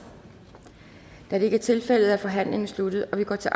da det ikke er tilfældet er forhandlingen sluttet og vi går til